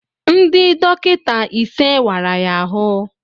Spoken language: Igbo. Ndị dọkịta ise wara ya ahụ